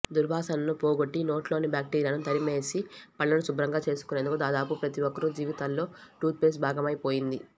దుర్వాసనను పోగొట్టి నోట్లోని బాక్టీరియాను తరిమేసి పళ్లను శుభ్రంగా చేసుకునేందుకు దాదాపు ప్రతి ఒక్కరి జీవితాల్లో టూత్పేస్ట్ భాగమైపోయింది